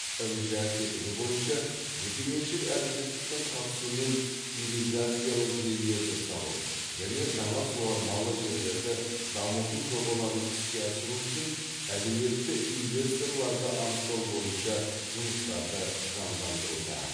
мжә тетігі бойынша жекеменшік әріптестіктің қатысуымен ирригациялық желілерді салу және жаңа суармалы жерлерді дамыту жобаларын іске асыру үшін әлеуетті инвесторларды анықтау бойынша жұмыстарды жандандыруда